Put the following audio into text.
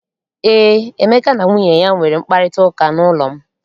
Eé, Emeka na nwunye ya nwere mkparịtaụka n'ụlọ m.